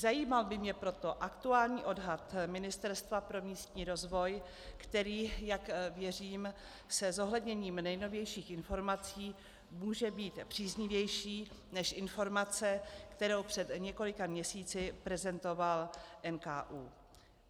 Zajímal by mě proto aktuální odhad Ministerstva pro místní rozvoj, který, jak věřím, se zohledněním nejnovějších informací může být příznivější než informace, kterou před několika měsíci prezentoval NKÚ.